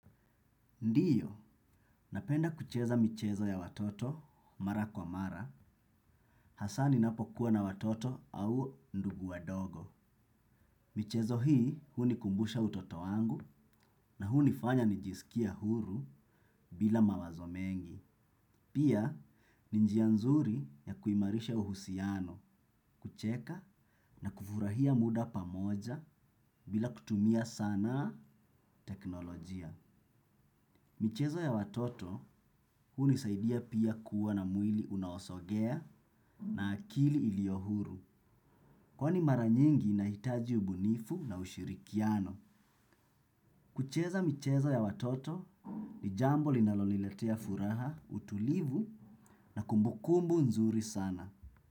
Ndiyo, napenda kucheza michezo ya watoto mara kwa mara, hasa ninapokuwa na watoto au ndugu wadogo. Michezo hii hunikumbusha utoto wangu na hunifanya nijisikie huru bila mawazo mengi. Pia, ni njia nzuri ya kuimarisha uhusiano, kucheka na kufurahia muda pamoja bila kutumia sana teknolojia. Michezo ya watoto hunisaidia pia kuwa na mwili unaosogea na akili ilio huru. Kwani mara nyingi inahitaji ubunifu na ushirikiano. Kucheza michezo ya watoto ni jambo linaloniletea furaha, utulivu na kumbukumbu nzuri sana.